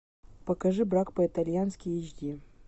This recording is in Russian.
покажи брак по итальянски эйч ди